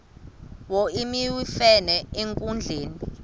wo iwemfene enkundleni